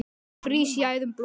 frýs í æðum blóð